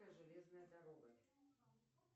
железная дорога